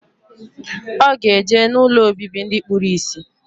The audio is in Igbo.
Oga eje na ụlọ obibi ndi kpuru isi.